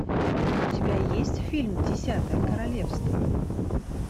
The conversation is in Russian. у тебя есть фильм десятое королевство